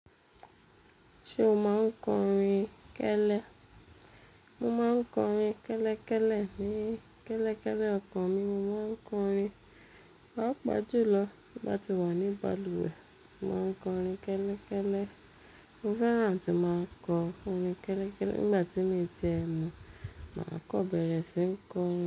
Ṣé o máa ń kọrin kẹ́lẹ́? Mo máa ń kọrin kẹ́lẹ́kẹ́lẹ́ ní kẹ́lẹ́kẹ́lẹ́ ọkàn mi. Mo máa ń kọrin, papa jùlọ tì bá ti wà ní balùwẹ̀, mo máa ń kọrin kẹ́lẹ́kẹ́lẹ́. Mo fẹ́ràn atí máa kọ orin kẹ́lẹ́kẹ́lẹ́. Nígbà tí mi ti e mú, màá kọ́ bẹ̀rẹ̀ sí n kọ orin.